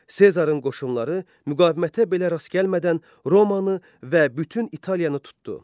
Sezarın qoşunları müqavimətə belə rast gəlmədən Romanı və bütün İtaliyanı tutdu.